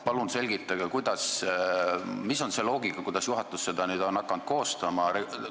Palun selgitage, millise loogika kohaselt on juhatus nüüd hakanud päevakordi koostama!